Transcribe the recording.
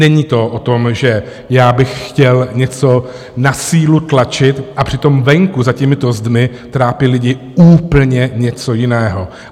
Není to o tom, že já bych chtěl něco na sílu tlačit, a přitom venku za těmito zdmi trápí lidi úplně něco jiného.